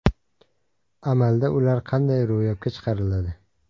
Amalda ular qanday ro‘yobga chiqariladi?